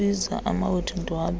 kukubiza amawethu ndiwabele